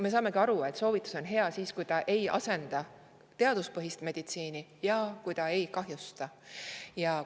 Me saame aru, et soovitus on hea siis, kui ta ei asenda teaduspõhist meditsiini ja ei kahjusta.